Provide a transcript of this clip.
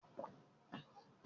Ṣé o ti ra òògùn fún ojú rẹ